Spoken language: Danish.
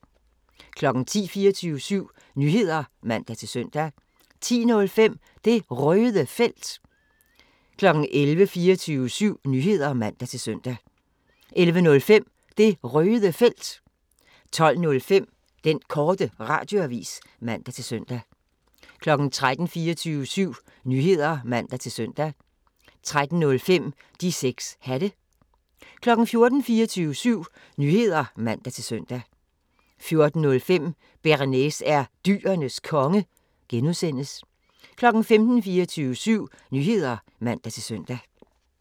10:00: 24syv Nyheder (man-søn) 10:05: Det Røde Felt 11:00: 24syv Nyheder (man-søn) 11:05: Det Røde Felt 12:05: Den Korte Radioavis (man-fre) 13:00: 24syv Nyheder (man-søn) 13:05: De 6 Hatte 14:00: 24syv Nyheder (man-søn) 14:05: Bearnaise er Dyrenes Konge (G) 15:00: 24syv Nyheder (man-søn)